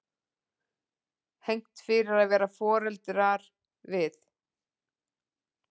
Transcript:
Hegnt fyrir að vara foreldra við